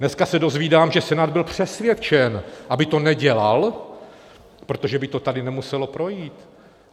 Dneska se dozvídám, že Senát byl přesvědčen, aby to nedělal, protože by to tady nemuselo projít.